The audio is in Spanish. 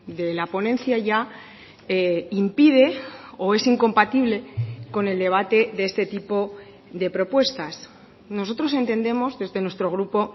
de la ponencia ya impide o es incompatible con el debate de este tipo de propuestas nosotros entendemos desde nuestro grupo